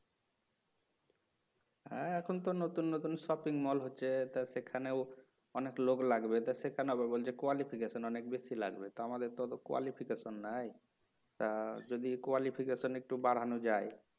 হা এখন তো নতুন নতুন shopping mall তা সেখানেও অনেক লোক লাগবে তা সেখানে আবার বলছে qualification অনেক বেশি লাগবে তো আমাদের তো অত qualification নাই তা যদি qualification এক্বটু বাড়ানো যায়. "